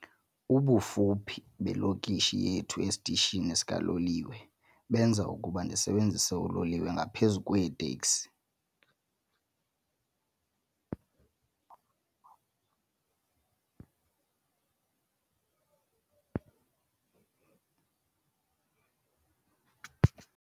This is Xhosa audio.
Ubufuphi belokishi yethu esitishini sikaloliwe benza ukuba ndisebenzise uloliwe ngaphezu kweeteksi.